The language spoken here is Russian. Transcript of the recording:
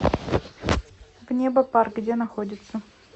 внебопарк где находится